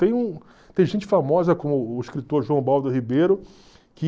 Tem um tem gente famosa como o escritor João Baldo Ribeiro, que...